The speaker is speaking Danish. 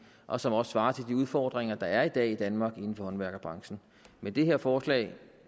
og som også svarer til de udfordringer der er i dag i danmark inden for håndværkerbranchen men det her forslag